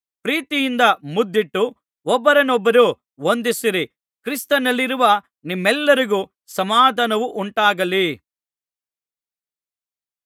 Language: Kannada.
ಪ್ರೀತಿಯಿಂದ ಮುದ್ದಿಟ್ಟು ಒಬ್ಬರನೊಬ್ಬರು ವಂದಿಸಿರಿ ಕ್ರಿಸ್ತನಲ್ಲಿರುವ ನಿಮ್ಮೆಲ್ಲರಿಗೂ ಸಮಾಧಾನವುಂಟಾಗಲಿ